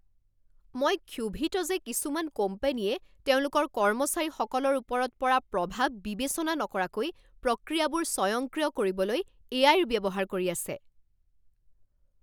মই ক্ষোভিত যে কিছুমান কোম্পানীয়ে তেওঁলোকৰ কৰ্মচাৰীসকলৰ ওপৰত পৰা প্ৰভাৱ বিবেচনা নকৰাকৈ প্ৰক্ৰিয়াবোৰ স্বয়ংক্ৰিয় কৰিবলৈ এ আই ৰ ব্যৱহাৰ কৰি আছে।